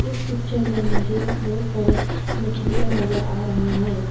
इस पिक्चर में मुझे बहुत सारे मछलियां नजर आ रहा है।